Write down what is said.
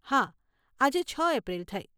હા, આજે છ એપ્રિલ થઈ.